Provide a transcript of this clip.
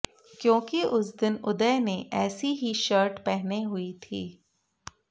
क्योंकि उस दिन उदय ने ऐसी ही शर्ट पहने हुए थी